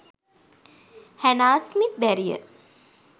Hannah Smith දැරිය